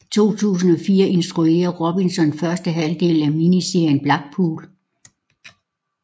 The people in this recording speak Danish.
I 2004 instruerede Robinson første halvdel af miniserien Blackpool